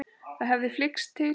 Það hefði flykkst til